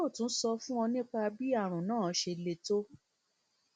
yóò tún sọ fún ọ nípa bí àrùn náà ṣe le tó